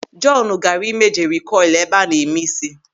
Jọọnu gaara ịme jeri kọịl ebe a na-eme ísí.